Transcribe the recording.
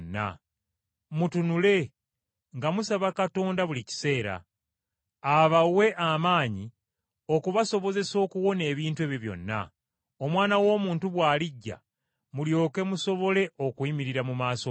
Mutunule nga musaba Katonda buli kiseera, abawe amaanyi okubasobozesa okuwona ebintu ebyo byonna, Omwana w’Omuntu bw’alijja mulyoke musobole okuyimirira mu maaso ge.”